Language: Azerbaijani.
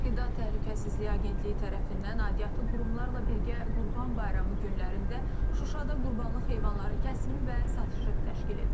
Qida Təhlükəsizliyi Agentliyi tərəfindən aidiyyatı qurumlarla birgə Qurban Bayramı günlərində Şuşada qurbanlıq heyvanların kəsimi və satışı təşkil edilib.